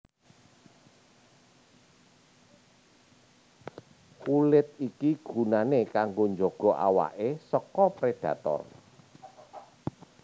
Kulit iki gunané kanggo njaga awaké saka prédhator